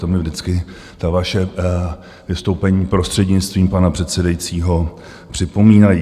To mi vždycky ta vaše vystoupení, prostřednictvím pana předsedajícího, připomínají.